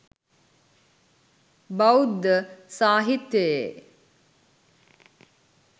බෞද්ධ සාහිත්‍යයේ